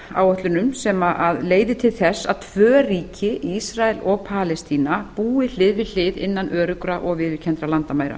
áætlunum sem leiði til þess að tvö ríki ísrael og palestína búi hlið við hlið innan öruggra og viðurkenndra landamæra